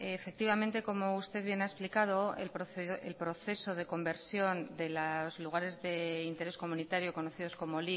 efectivamente como usted bien ha explicado el proceso de conversión de los lugares de interés comunitario conocidos como